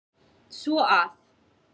Svo að.